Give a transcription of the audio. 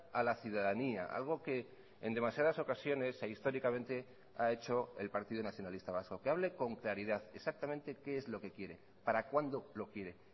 a la ciudadanía algo que en demasiadas ocasiones e históricamente ha hecho el partido nacionalista vasco que hable con claridad exactamente qué es lo que quiere para cuándo lo quiere